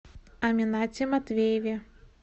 аминате матвееве